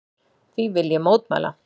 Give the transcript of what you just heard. Því vil ég mótmæla!